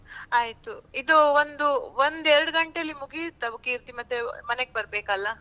ಆಯ್ತು. ಇದು ಒಂದು ಒಂದ್ ಎರಡ್ ಗಂಟೆಯಲ್ಲಿ ಮುಗಿಯುತ್ತಾ ಕೀರ್ತಿ? ಮತ್ತೆ ಮನೆಗ್ ಬರ್ಬೇಕಲ್ಲಾ.